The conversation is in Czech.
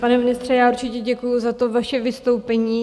Pane ministře, já určitě děkuju za to vaše vystoupení.